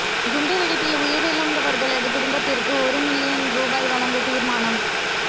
குண்டு வெடிப்பில் உயிரிழந்தவர்களது குடும்பத்திற்கு ஒரு மில்லியன் ரூபா வழங்க தீர்மானம்